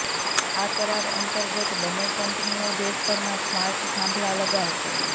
આ કરાર અંતર્ગત બંન્ને કંપનીઓ દેશભરમાં સ્માર્ટ થાંભલા લગાવશે